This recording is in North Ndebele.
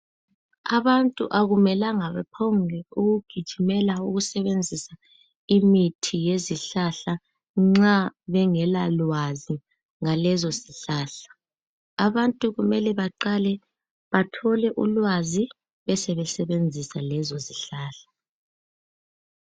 Abantu akumelanga baphongukugijimela ukusebenzisa imithi ye zihlahla nxa bengelwa lwazi ngalezo zihlahla. Abantu kumele beqale bathole ulwazi besesebenzisa lezo zihlahla.